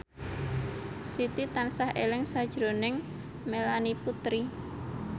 Siti tansah eling sakjroning Melanie Putri